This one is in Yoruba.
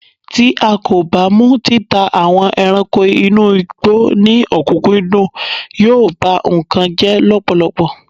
ti a ko ba mu títà àwọn ẹranko inú igbó ni okunkundun, yíò ba nkan jẹ lọpọlọpọ